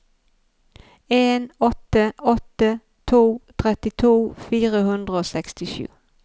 en åtte åtte to trettito fire hundre og sekstisju